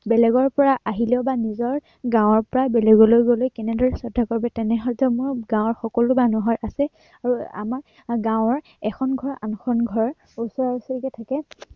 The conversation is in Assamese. বেলেগৰ পৰা আহিলে বা নিজৰ গাঁৱৰ পৰা বেলেগলৈ গলে কেনেদৰে শ্ৰদ্ধা কৰিব তেনে সৌজন্য় গাঁৱৰ সকলো মানুহৰ আছে আৰু আমাৰ গাঁৱৰ এখন ঘৰ আনখন ঘৰ ওচৰাওচৰিকৈ থাকে।